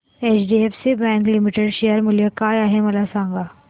HDFC bank limited share मूल्य काय आहे मला सांगा